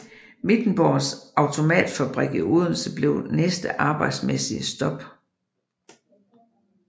Wittenborgs Automatfabrik i Odense blev næste arbejdsmæssige stop